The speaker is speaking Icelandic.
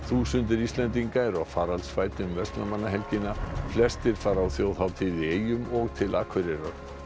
þúsundir Íslendinga eru á faraldsfæti um verslunarmannahelgina flestir fara á þjóðhátíð í eyjum og til Akureyrar